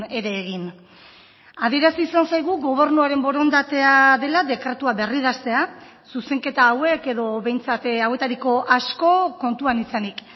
ere egin adierazi izan zaigu gobernuaren borondatea dela dekretua berridaztea zuzenketa hauek edo behintzat hauetariko asko kontuan izanik